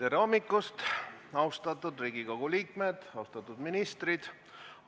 Tere hommikust, austatud Riigikogu liikmed ja austatud ministrid!